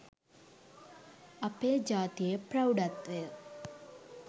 අපේ ජාතියේ ප්‍රෞඩත්වය